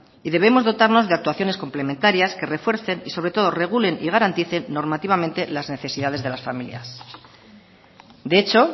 y debemos dotarnos de actuaciones complementarias que refuercen y sobre todo regulen y garanticen normativamente las necesidades de las familias de hecho